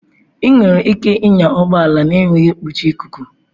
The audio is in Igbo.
Ị nwere ike ịnya ụgbọ ala na-enweghị nkpuchi ikuku.